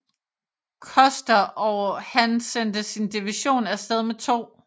Custer og han sendte sin division afsted med 2